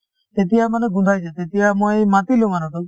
তেতিয়ামানে গোন্ধাইছে তেতিয়া মই মাতিলো মানুহটোক